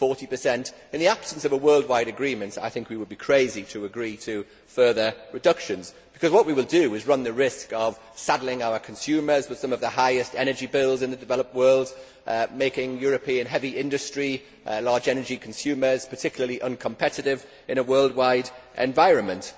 40. In the absence of a worldwide agreement, I think we would be crazy to agree to further reductions because what we will do is run the risk of saddling our consumers with some of the highest energy bills in the developed world, making European heavy industry and large energy consumers particularly uncompetitive in a worldwide environment.